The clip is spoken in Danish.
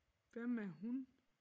Hvem er hun?